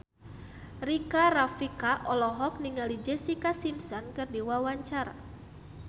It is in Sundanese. Rika Rafika olohok ningali Jessica Simpson keur diwawancara